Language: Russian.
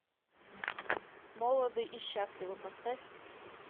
молоды и счастливы поставь